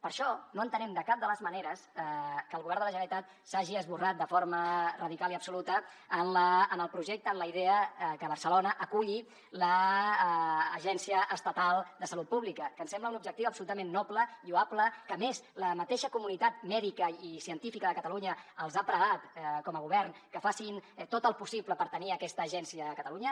per això no entenem de cap de les maneres que el govern de la generalitat s’hagi esborrat de forma radical i absoluta en el projecte en la idea que barcelona aculli l’agència estatal de salut pública que ens sembla un objectiu absolutament noble lloable que a més la mateixa comunitat mèdica i científica de catalunya els ha pregat com a govern que facin tot el possible per tenir aquesta agència a catalunya